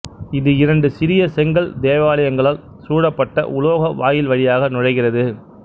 இது இரண்டு சிறிய செங்கல் தேவாலயங்களால் சூழப்பட்ட உலோக வாயில் வழியாக நுழைகிறது